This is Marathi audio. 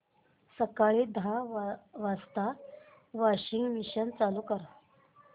सकाळी दहा वाजता वॉशिंग मशीन चालू कर